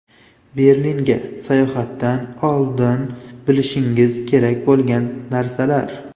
Berlinga sayohatdan oldin bilishingiz kerak bo‘lgan narsalar.